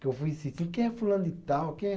Que eu fui insistindo, quem é fulano de tal, quem é?